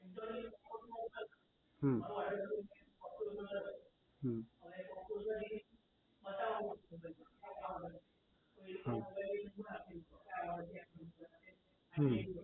હમ હમ હમ